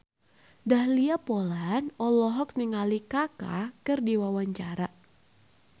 Dahlia Poland olohok ningali Kaka keur diwawancara